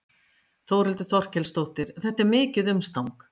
Þórhildur Þorkelsdóttir: Þetta er mikið umstang?